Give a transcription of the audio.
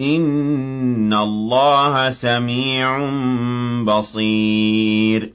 إِنَّ اللَّهَ سَمِيعٌ بَصِيرٌ